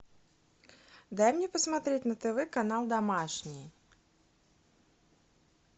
дай мне посмотреть на тв канал домашний